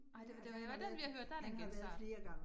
Nej det det var den jeg hørte, der det en genstart